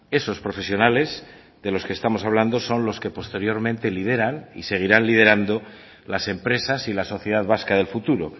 esos profesionales de lo que estamos hablando son los que posteriormente lideran y seguirán liderando las empresas y la sociedad vasca del futuro